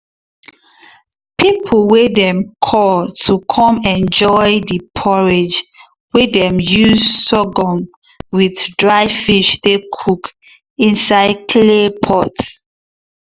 people way dem call to come enjoy the porridge way dem use sorghum with dry fish take cook inside clay pots.